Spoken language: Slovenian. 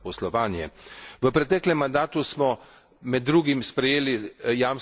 V preteklem mandatu smo med drugim sprejeli jamstveno shemo.